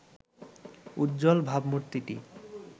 উজ্জ্বল ভাবমূর্তিটি